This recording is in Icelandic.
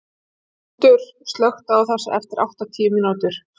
Hrútur, slökktu á þessu eftir áttatíu mínútur.